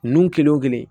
Nun kelen o kelen